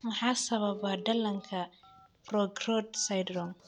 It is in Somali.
Maxaa sababa dhallaanka progeroid syndrome?